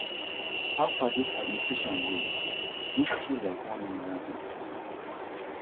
how far dis administration go na dig through like one immigrant history na